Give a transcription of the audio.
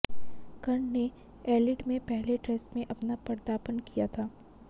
कर्ण ने एडिलेड में पहले टेस्ट में अपना पदार्पण किया था